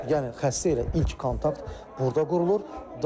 Yəni xəstə ilə ilk kontakt burda qurulur.